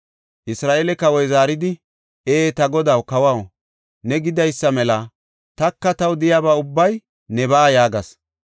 Isra7eele kawoy zaaridi, “Ee, ta godaw kawaw, ne gidaysa mela; taka taw de7iyaba ubbay nebaa” yaagis.